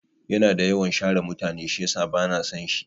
Yana da yawan share mutane shiyasa bana son shi.